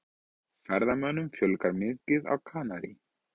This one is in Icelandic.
Ferðamönnum fjölgar mikið á Kanarí